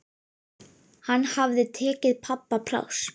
Hann hafði tekið pabba pláss.